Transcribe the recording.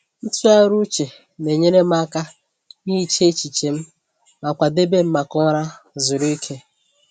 Ntụgharị uche na-enyere m aka ihicha echiche m ma kwadebe m maka ụra zuru ike.